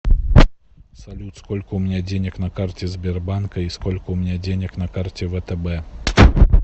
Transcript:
салют сколько у меня денег на карте сбербанка и сколько у меня денег на карте втб